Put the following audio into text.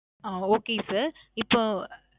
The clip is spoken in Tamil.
ஆ. Okay sir. இப்போ,